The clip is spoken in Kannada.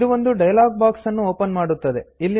ಇದು ಒಂದು ಡೈಲಾಗ್ ಬಾಕ್ಸ್ ನ್ನು ಓಪನ್ ಮಾಡುತ್ತದೆ